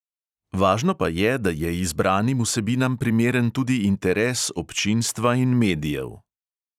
Važno pa je, da je izbranim vsebinam primeren tudi interes občinstva in medijev.